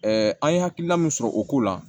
an ye hakilina min sɔrɔ o ko la